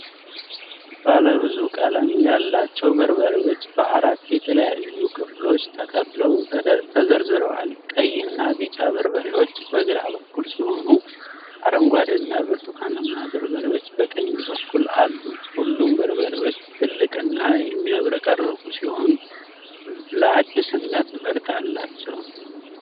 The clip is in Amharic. ባለ ብዙ ቀለም ያላቸው በርበሬዎች በአራት የተለያዩ ክፍሎች ተከፍለው ተዘርዝረዋል። ቀይና ቢጫ በርበሬዎች በግራ በኩል ሲሆኑ አረንጓዴና ብርቱካናማ በርበሬዎች በቀኝ በኩል አሉ። ሁሉም በርበሬዎች ትልቅና የሚያብረቀርቁ ሲሆኑ ለአዲስነት መልክ አላቸው።